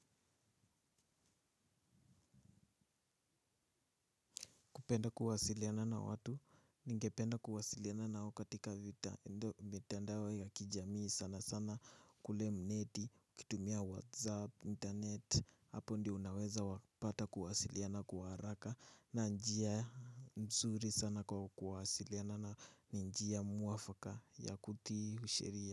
Kupenda kuwasiliana na watu, ningependa kuwasiliana nao katika vita, endo mitandao ya kijamii sana sana kule mneti, kutumia whatsapp, internet, hapo ndio unaweza wapata kuwasiliana kwa haraka, na njia mzuri sana kwa kuwasiliana na njia mwafaka ya kutii sheria.